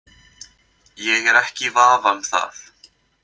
Ég er ekki í vafa um það.